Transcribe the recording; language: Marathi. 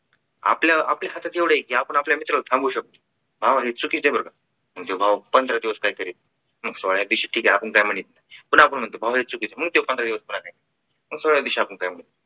आपल्या आपल्या हातात एवढा आहे की आपण आपल्या मित्राला थांबू शकतो आहे चुकीच आहे बरं का म्हणजे भाऊ पंधरा दिवस काहीतरी सोळाव्या दिवशी आपण ठीक आहे आपण काय नाही पुन्हा आपण म्हणतो भाऊ हे चूक मग मग तो पंधरा दिवस खाणार नाही मग सोळाव्या दिवशी आपण काही म्हणून